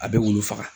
A bɛ wulu faga